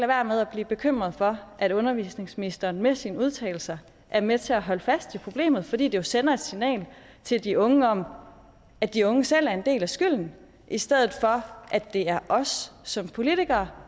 være med at blive bekymret for at undervisningsministeren med sine udtalelser er med til at holde fast i problemet fordi det jo sender et signal til de unge om at de unge selv bærer en del af skylden i stedet for at det er os som politikere